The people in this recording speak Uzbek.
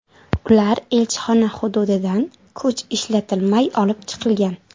Ular elchixona hududidan kuch ishlatilmay olib chiqilgan.